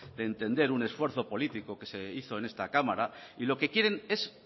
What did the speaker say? de entender un esfuerzo político que se hizo en esta cámara y lo que quieren es